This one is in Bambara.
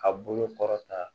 Ka bolo kɔrɔta